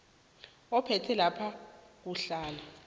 ophethe lapha kuhlala